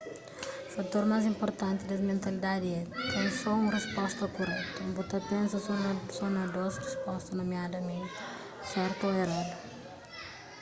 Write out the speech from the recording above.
fator más inpurtanti des mentalidadi é ten só un risposta kuretu bu ta pensa só na dôs risposta nomiadamenti sertu ô eradu